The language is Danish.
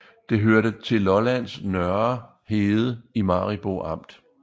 Det hørte til Lollands Nørre Herred i Maribo Amt